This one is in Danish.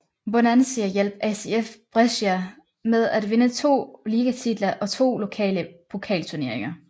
Bonansea hjalp ACF Brescia med at vinde to ligatitler og to lokale pokalturneringer